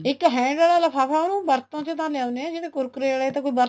ਇੱਕ hanger ਵਾਲਾ ਲ੍ਫ਼ਾਫਾਂ ਉਹਨੂੰ ਵਰਤੋਂ ਤਾਂ ਲਿਆਉਣੇ ਹਾਂ ਜਿਹੜੇ কুৰকুৰে ਆਲੇ ਇਹ ਤਾਂ ਕੋਈ ਵਰਤੋਂ